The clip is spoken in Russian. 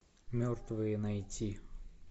мертвые найти